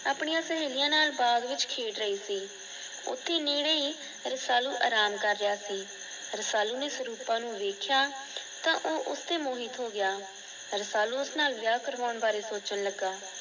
ਆਪਣੀਆਂ ਸਹੇਲੀਆਂ ਨਾਲ ਬਾਗ ਵਿੱਚ ਖੇਡ ਰਹੀ ਸੀ। ਓਥੇ ਨੇੜੇ ਹੀ ਰਸਾਲੂ ਆਰਾਮ ਕਰ ਰਿਯਾ ਸੀ। ਰਸਾਲੂ ਨੇ ਸਰੂਪਾ ਨੂੰ ਵੇਖਆ ਤਾ ਉਹ ਉਸ ਤੇ ਮੋਹਿਤ ਹੋ ਗਿਆ। ਰਸਾਲੂ ਉਸ ਨਾਲ ਵਿਆਹ ਕਰੋਂਣ ਬਾਰੇ ਸੋਚਣ ਲੱਗਾ